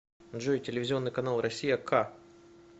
джой телевизионный канал россия к